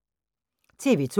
TV 2